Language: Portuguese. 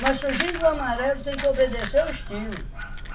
Mas surgindo o amarelo, tem que obedecer o estilo.